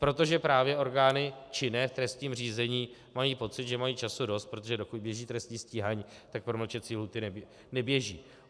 Protože právě orgány činné v trestním řízení mají pocit, že mají času dost, protože dokud běží trestní stíhání, tak promlčecí lhůty neběží.